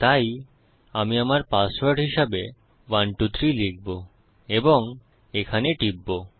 তাই আমি আমার পাসওয়ার্ড হিসাবে 123 লিখবো এবং এখানে টিপব